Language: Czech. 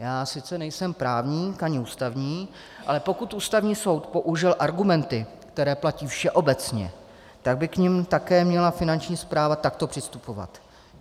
Já sice nejsem právník, ani ústavní, ale pokud Ústavní soud použil argumenty, které platí všeobecně, tak by k nim také měla Finanční správa takto přistupovat.